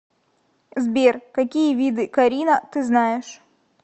сбер какие виды карина ты знаешь